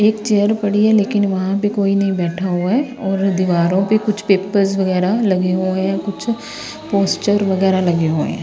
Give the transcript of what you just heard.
एक चेयर पड़ी है लेकिन वहां पर कोई नहीं बैठा हुआ है और दीवारों पर कुछ पेपर्स वगैरह लगे हुए हैं कुछ पोस्टर वगैरा लगे हुए हैं।